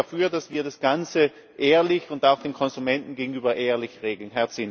Also ich bin dafür, dass wir das Ganze auch dem Konsumenten gegenüber ehrlich regeln.